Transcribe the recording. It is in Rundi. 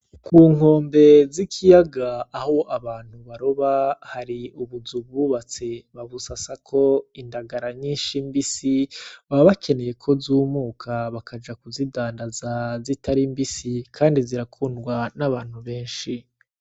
Ku nkombe z'ikiyaga aho abantu baroba hari ubuzu bubatse babusasako indagara mbisi. Baba bakeneye ko zumuka bakaja kuzidandaza zitari mbisi. Kandi zirakundwa n'abantu benshi.